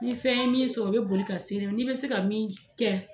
Ni fɛn ye min sɔrɔ o bɛ boli ka se e de ma, n'i bɛ se ka min kɛ.